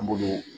An b'olu